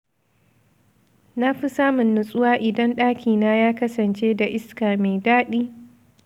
Na fi samun nutsuwa idan ɗakina ya kasance da iska mai daɗi.